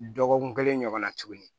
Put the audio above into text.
Dɔgɔkun kelen ɲɔgɔnna tuguni